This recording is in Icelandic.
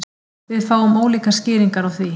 Við fáum ólíkar skýringar á því